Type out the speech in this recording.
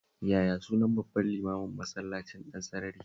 Yaya sunan babban limamin Masallacin Ɗansarari?